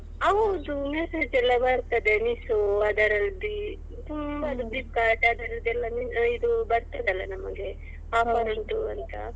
ಹೌದು message ಎಲ್ಲ ಬರ್ತದೆ Meesho ಅದರಲ್ಲಿ ತುಂಬಾ Flipkart ಅದರದ್ದೆಲ್ಲ ಇದು ಬರ್ತದಲ್ವಾ ನಮಿಗೆ Offer ಉಂಟು ಅಂತ.